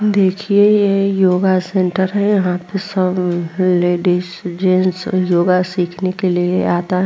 देखिये यह योगा सेन्टर हैं। यहाँ पे सब लेडीज़ जेंट्स योगा सीखने के लिए आता --